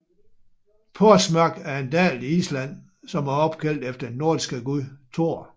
Þórsmörk er en dal i Island som er opkaldt efter den nordiske gud Thor